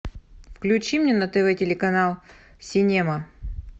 включи мне на тв телеканал синема